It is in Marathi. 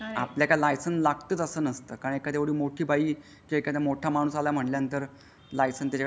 आपल्या लायसन लागतो तसं नसतं काय कधी मोठी बाई चे एखाद्या मोठ्या माणसाला म्हणल्यानंतर लायसन असतो शकतो पण आर ती ओ नि म्हणजे पोलिसांनी पकडला तर काय करणार दाखवणार काय .